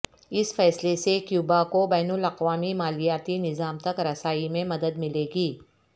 اس فیصلے سے کیوبا کو بین الاقوامی مالیاتی نظام تک رسائی میں مدد ملے گی